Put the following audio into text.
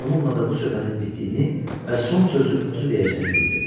Və bununla da bu söhbətin bitdiyini və son sözü özü deyəcəyini bildirdi.